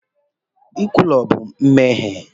Nkwulu bụ mmehie